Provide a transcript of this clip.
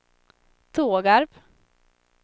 Tågarp